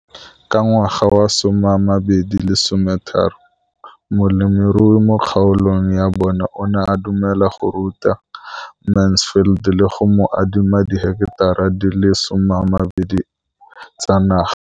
Ka ngwaga wa 2013, molemirui mo kgaolong ya bona o ne a dumela go ruta Mansfield le go mo adima di heketara di le 12 tsa naga.